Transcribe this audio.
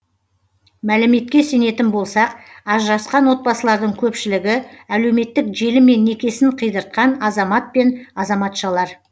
мәліметке сенетін болсақ ажырасқан отбасылардың көпшілігі әлеуметтік желімен некесін қидыртқан азамат мен азаматшалар